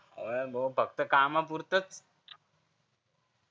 हो यार भो फक्त कामापुरतच